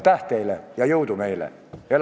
Aitäh teile ja jõudu meile!